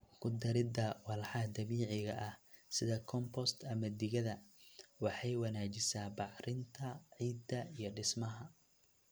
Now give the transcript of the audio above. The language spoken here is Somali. Ku darida walxaha dabiiciga ah, sida compost ama digada, waxay wanaajisaa bacrinta ciidda iyo dhismaha.